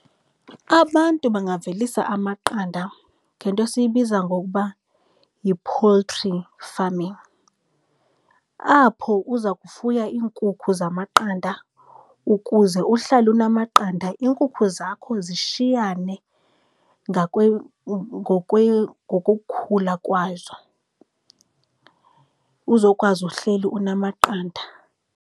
Abantu bangavelisa amaqanda ngento esiyibiza ngokuba yi-poultry farming, apho uza kufuya iinkukhu zamaqanda, ukuze uhlale unamaqanda. Iinkukhu zakho zishiyane ngokokukhula kwazo uzokwazi uhleli unamaqanda.